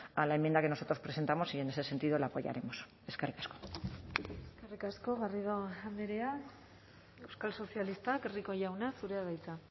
a la enmienda que nosotros presentamos y en ese sentido la apoyaremos eskerrik asko eskerrik asko garrido andrea euskal sozialistak rico jauna zurea da hitza